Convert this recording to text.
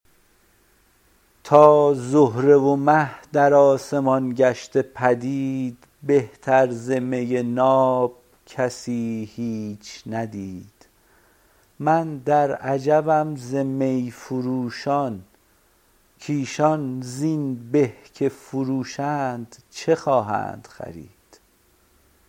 تا زهره و مه در آسمان گشته پدید بهتر ز می ناب کسی هیچ ندید من در عجبم ز می فروشان کایشان زین به که فروشند چه خواهند خرید